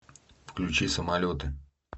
включи самолеты